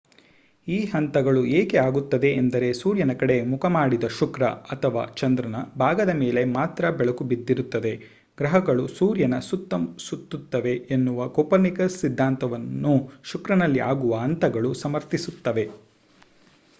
ಈ ಹಂತಗಳು ಏಕೆ ಆಗುತ್ತವೆ ಅಂದರೆ ಸೂರ್ಯನ ಕಡೆ ಮುಖ ಮಾಡಿದ ಶುಕ್ರ ಅಥವಾ ಚಂದ್ರನ ಭಾಗದ ಮೇಲೆ ಮಾತ್ರ ಬೆಳಕು ಬಿದ್ದಿರುತ್ತದೆ. ಗ್ರಹಗಳು ಸೂರ್ಯನ ಸುತ್ತ ಸುತ್ತುತ್ತವೆ ಎನ್ನುವ ಕೋಪರ್ನಿಕಸ್ ಸಿದ್ಧಾಂತವನ್ನು ಶುಕ್ರನಲ್ಲಿ ಆಗುವ ಹಂತಗಳು ಸಮರ್ಥಿಸುತ್ತವೆ